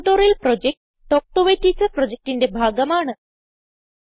spoken tutorial project talk to a teacher പ്രൊജക്റ്റിന്റെ ഭാഗമാണ്